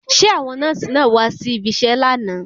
Ṣé àwọn nọ́ọ̀sì náà wá si ibiṣẹ́ lánàá?